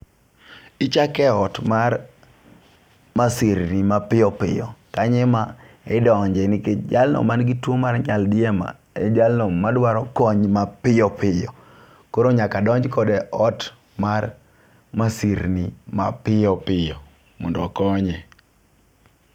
Ichake ot mar masirni mapiyopiyo kanye ema idonje nikech jalno man gi tuo mar nyaldiema, en jalno madwaro kony mapiyo piyo. Koro nyaka donj kode e ot mar masirni mapiyo piyo mondo okonye.